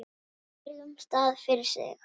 á hverjum stað fyrir sig.